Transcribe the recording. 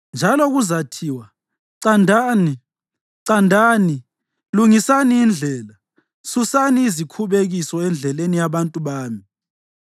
Njalo kuzathiwa: “Candani, candani, lungisani indlela! Susani izikhubekiso endleleni yabantu bami.”